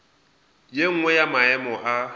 ye nngwe ya maemo a